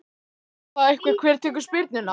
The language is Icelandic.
Þarf að ræða það eitthvað hver tekur spyrnuna?